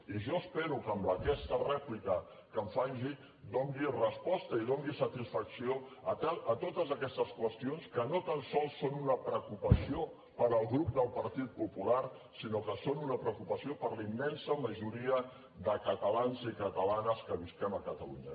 i jo espero que en aquesta rèplica que em faci doni resposta i doni satisfacció a totes aquestes qüestions que no tan sols són una preocupació per al grup del partit popular sinó que són una preocupació per a la immensa majoria de catalans i catalanes que vivim a catalunya